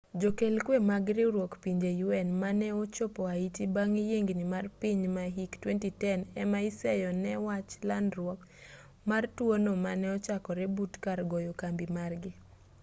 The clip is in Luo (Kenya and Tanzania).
jokel kwe mag riwruok pinje un mane ochopo haiti bang' yiengni mar piny ma hik 2010 ema iseyo ne wach landruok mar tuo no mane ochakore but kar goyo kambi margi